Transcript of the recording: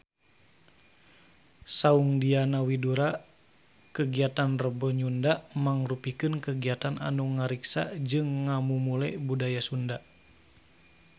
Saur Diana Widoera kagiatan Rebo Nyunda mangrupikeun kagiatan anu ngariksa jeung ngamumule budaya Sunda